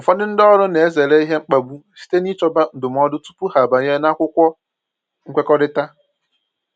Ụfọdụ ndị ọrụ na-ezere ihe mkpagbu site n'ichọba ndụmọdụ tupu ha abanye n’akwụkwọ nkwekọrịta.